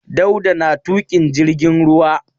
Dauda na tuƙin jirgin ruwa.